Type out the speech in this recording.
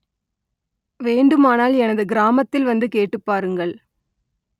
வேண்டுமானால் எனது கிராமத்தில் வந்து கேட்டுப் பாருங்கள்